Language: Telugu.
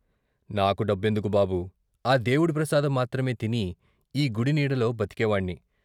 నాకు డబ్బెందుకు బాబూ, ఆ దేవుడి ప్రసాదం మాత్రమే తిని ఈ గుడి నీడలో బతికేవాణ్ణి.